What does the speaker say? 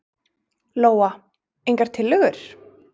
Lóa: Engar tillögur?